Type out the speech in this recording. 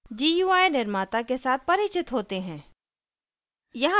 gui निर्माता के साथ परिचित होते हैं